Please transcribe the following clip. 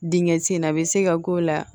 Dingɛ ti in na a bɛ se ka k'o la